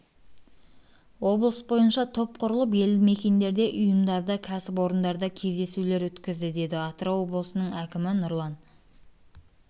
облыс бойынша топ құрылып елді мекендерде ұйымдарда кәсіпорындарда кездесулер өткізді деді атырау облысының әкімі нұрлан